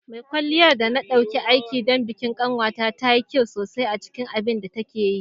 Mai kwalliyar da na ɗauki aiki don bikin ƙanwata ta yi kyau sosai a cikin abin da take yi.